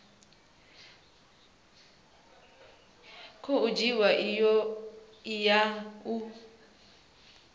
khou dzhiwa i ya u